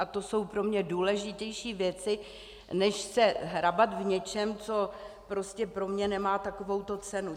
A to jsou pro mě důležitější věci, než se hrabat v něčem, co prostě pro mě nemá takovouto cenu.